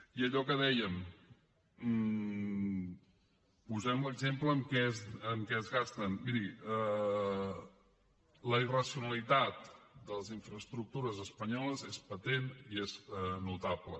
i allò que dèiem posem l’exemple de en què es gasten miri la irracionalitat de les infraestructures espanyoles és patent i és notable